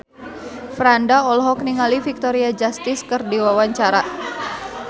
Franda olohok ningali Victoria Justice keur diwawancara